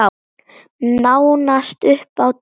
Nánast upp á dag.